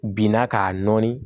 Binna k'a nɔɔni